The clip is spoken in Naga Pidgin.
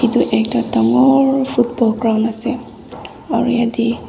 edu ekta dangor football ground ase aro yate--